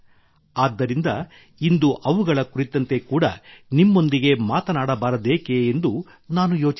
ಆದ್ದರಿಂದ ಇಂದು ಇವುಗಳ ಕುರಿತಂತೆ ಕೂಡಾ ನಿಮ್ಮೊಂದಿಗೆ ಮಾತನಾಡಬಾರದೇಕೆ ಎಂದು ನಾನು ಯೋಚಿಸಿದೆ